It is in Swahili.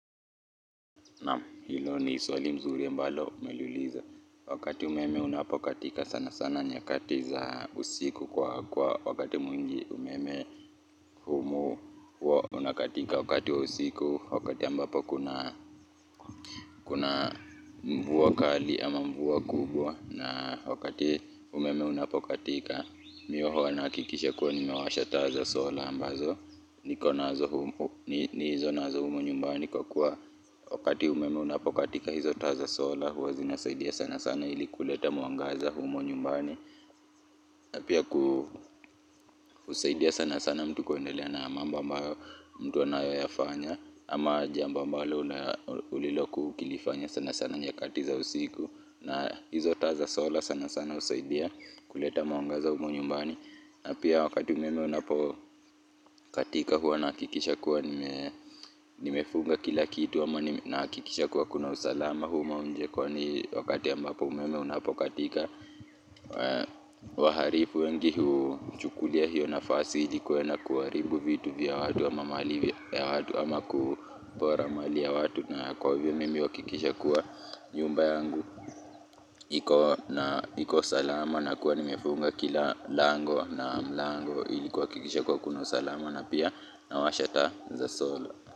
Naam hilo ni swali mzuri ambalo umeliuliza. Wakati umeme unapokatika sana sana nyakati za usiku kwa kwa wakati mwingi umeme humu. Huwa unakatika wakati wa usiku wakati ambapo kuna mvua kali ama mvua kubwa na wakati umeme unapokatika. Mimi huwa nahakikisha kuwa nimewasha taa za sola ambazo. Nikonazo humu. Nilizonazo humu nyumbani kwa kuwa. Wakati umeme unapokatika hizo taa za solar huwa zinasaidia sana sana ili kuleta mwangaza humu nyumbani na pia kusaidia sana sana mtu kuendelea na mambo ambayo mtu anayoyafanya ama jambo ambalo ulilokuwa ukilifanya nyakati za usiku na hizo taa za solar sana sana husaidia kuleta mwangaza humu nyumbani na pia wakati umeme unapokatika huwa nahakikisha kuwa nimefuga kila kitu ama nahakikisha kuwa kuna usalama huko nje kwani wakati ambapo umeme unapokatika wahalifu wengi huchukulia hiyo nafasi ili kuenda kuharibu vitu vya watu ama mali ya watu ama kupora mali ya watu na kwa hivyo mimi huhakikisha kuwa nyumba yangu iko salama nakua nimefunga kila lango na mlango ili kuhakikisha kuwa kuna usalama na pia nawasha taa za solar.